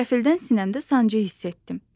Qəfildən sinəmdə sancı hiss etdim.